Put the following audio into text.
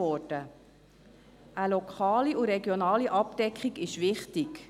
Eine lokale und regionale Abdeckung ist wichtig.